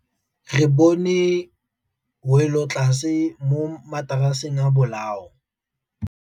Re bone wêlôtlasê mo mataraseng a bolaô.